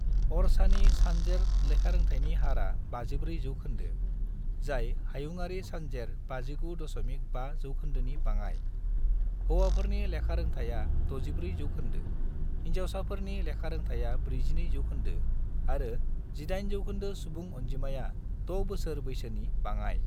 अरछानि सानजेर लेखारोंथायनि हारआ 54 जौखोन्दो, जाय हायुंआरि सानजेर 59.5 जौखोन्दोनि बाङाइ: हौवाफोरनि लेखारोंथाया 64 जौखोन्दो, हिनजावफोरनि लेखारोंथाया 42 जौखोन्दो, आरो 18 जौखोन्दो सुबुं अनजिमाया 6 बोसोर बैसोनि बाङाइ।